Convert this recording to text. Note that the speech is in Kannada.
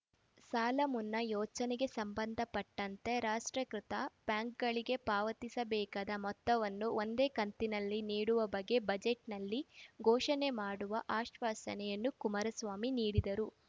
ಸಾಲಮುನ್ನಾ ಯೋಚನೆಗೆ ಸಂಬಂಧಪಟ್ಟಂತೆ ರಾಷ್ಟ್ರೀಕೃತ ಬ್ಯಾಂಕ್‌ಗಳಿಗೆ ಪಾವತಿಸಬೇಕಾದ ಮೊತ್ತವನ್ನು ಒಂದೇ ಕಂತಿನಲ್ಲಿ ನೀಡುವ ಬಗ್ಗೆ ಬಜೆಟ್‌ನಲ್ಲಿ ಘೋಷಣೆ ಮಾಡುವ ಆಶ್ವಾಸನೆಯನ್ನು ಕುಮಾರಸ್ವಾಮಿ ನೀಡಿದ್ದರು